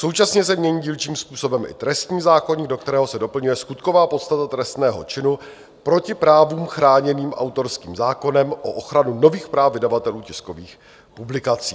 Současně se mění dílčím způsobem i trestní zákoník, do kterého se doplňuje skutková podstata trestného činu proti právům chráněným autorským zákonem o ochranu nových práv vydavatelů tiskových publikací.